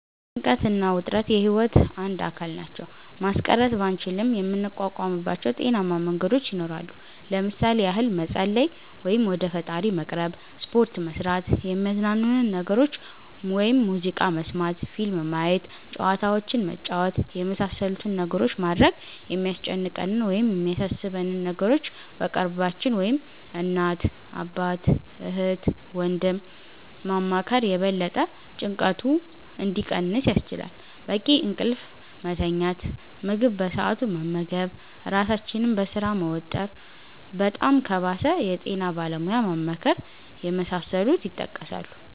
ጭንቀት እና ውጥረት የህይወት አንድ አካል ናቸው። ማስቀረት ባንችልም የምንቋቋምባቸው ጤናማ መንገዶች ይኖራሉ። ለምሣሌ ያህል መፀለይ(ወደ ፈጣሪ መቅረብ)፣ሰፖርት መስራት፣ የሚያዝናኑንን ነገሮች (ሙዚቃ መስመት፣ ፊልም ማየት፣ ጨዋታዎችንን መጫወት)የመሣሠሉትን ነገሮች ማድረግ፣ የሚያስጨንቀንን ወይም የሚያሣሦበንን ነገሮች በቅርባችን (እናት፣ አባት፣ እህት፣ ወንድም )ማማከር የበለጠ ጭንቀቱ እንዲቀንስ ያስችላል፣ በቂ እንቅልፍ መተኛት፣ ምግብ በሠአቱ መመገብ ራሣችንን በሥራ መወጠር፣ በጣም ከባሠ የጤና ባለሙያ ማማከር የመሣሠሉት ይጠቀሳሉ።